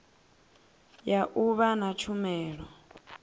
ya u vha na tshumelo